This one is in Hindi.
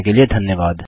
देखने के लिए धन्यवाद